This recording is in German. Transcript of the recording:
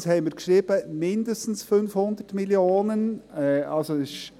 Zweitens schrieben wir «mindestens 500 Mio. Franken».